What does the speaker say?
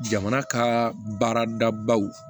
Jamana ka baaradabaw